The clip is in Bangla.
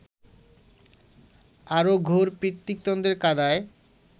আরও ঘোর পিতৃতন্ত্রের কাদায়